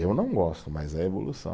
Eu não gosto, mas é evolução.